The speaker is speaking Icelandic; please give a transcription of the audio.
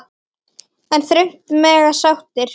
En þröngt mega sáttir sitja.